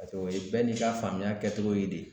o ye bɛɛ n'i ka faamuya kɛcogo ye de